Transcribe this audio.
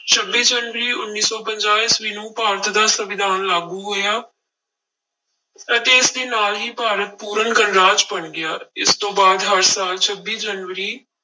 ਛੱਬੀ ਜਨਵਰੀ ਉੱਨੀ ਸੌ ਪੰਜਾਹ ਈਸਵੀ ਨੂੰ ਭਾਰਤ ਦਾ ਸੰਵਿਧਾਨ ਲਾਗੂ ਹੋਇਆ ਅਤੇ ਇਸਦੇ ਨਾਲ ਹੀ ਭਾਰਤ ਪੂਰਨ ਗਣਰਾਜ ਬਣ ਗਿਆ, ਇਸ ਤੋਂ ਬਾਅਦ ਹਰ ਸਾਲ ਛੱਬੀ ਜਨਵਰੀ